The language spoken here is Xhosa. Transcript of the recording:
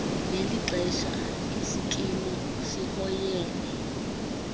ngelixesha isikimu sihoyene